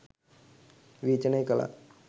විවේචනය කලා.